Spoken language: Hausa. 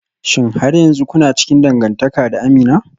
Shin har yanzu kuna cikin dangantaka da Amina?